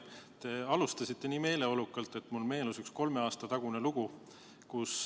Te alustasite nii meeleolukalt, et mulle meenus üks kolme aasta tagune lugu.